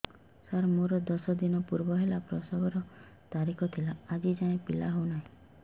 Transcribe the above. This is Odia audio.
ସାର ମୋର ଦଶ ଦିନ ପୂର୍ବ ପିଲା ପ୍ରସଵ ର ତାରିଖ ଥିଲା ଆଜି ଯାଇଁ ପିଲା ହଉ ନାହିଁ